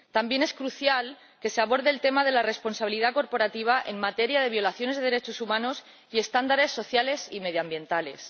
También es crucial que se aborde el tema de la responsabilidad corporativa en materia de violaciones de derechos humanos y estándares sociales y medioambientales.